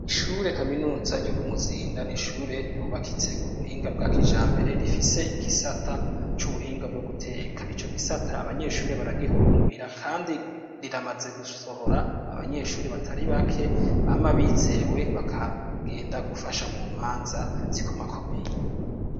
ishure kaminuza ryo ku muzinda n'ishure ryubakitse ku buhinga bwa kijambere rifise igisata c'ubuhinga bwo guteka ico gisata abanyeshuri baragihurumbira kandi riramaze gusohora abanyeshuri batari bake bama bizewe bakagenda gufasha mu manza zikomakomeye.